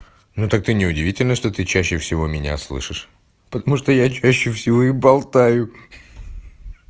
ну так ты не удивительно что ты чаще всего меня слышишь потому что я чаще всего и болтаю хи-хи